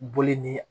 Boli ni